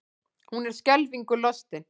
Hún er skelfingu lostin.